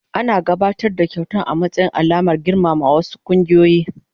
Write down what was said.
Ana gabatar da kyauta a matsayin alamar girmamawa a wasu kungiyoyi.